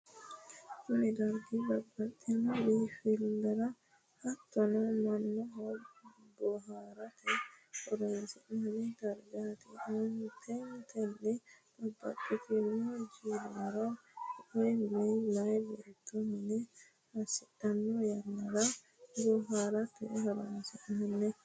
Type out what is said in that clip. kuni dargi babbaxxinno biinfilra hatono mannotu bohaarate horonsidhanno dargati. aanteteno babbaxxitinno jiilara woyi meeya beetto mine assidhanno yannara boharate horoonsi'nanni.